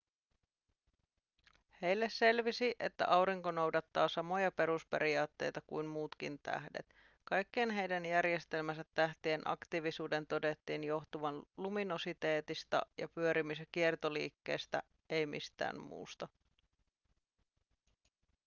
heille selvisi että aurinko noudattaa samoja perusperiaatteita kuin muutkin tähdet kaikkien heidän järjestelmänsä tähtien aktiivisuuden todettiin johtuvan luminositeetista ja pyörimis- ja kiertoliikkeestä ei mistään muusta